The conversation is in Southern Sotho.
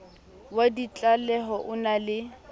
wa ditlaleho o na le